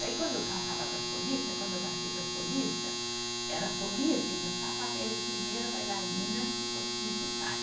Daí quando eu passava para solista, quando eu passei para solista, era solista e dançar papel de primeira bailarina se fosse necessário.